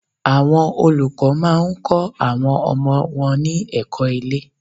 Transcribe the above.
Àwọn olùkọ́ má a ń kó àwọn ọmọ wọn ní èkó ilé